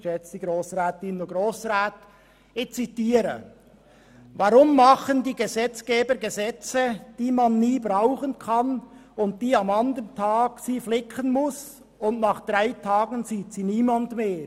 Ich zitiere: «Warum machen die Gesetzgeber Gesetze, die man nie brauchen kann und die, wo man braucht, muss man den andern Tag flicken, und nach drei Tagen sieht sie niemand mehr?